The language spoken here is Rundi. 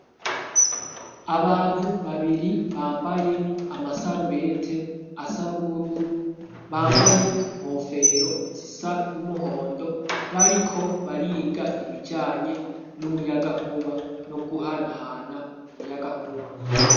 Abantu babiri bambaye amasarubete asa n'ubururu, bambaye inkofero zisa n'umuhondo, bariko bariga ibijanye n'umuyagankuba, no guhanahana umuyagankuba.